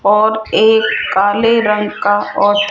और एक काले रंग का और --